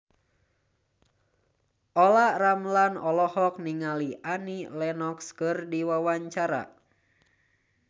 Olla Ramlan olohok ningali Annie Lenox keur diwawancara